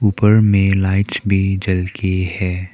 ऊपर में लाइट भी जल के है।